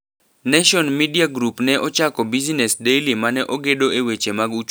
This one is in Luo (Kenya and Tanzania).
Nation Media Group ne ochako Business Daily mane ogedo e weche mag uchumi kod pesa.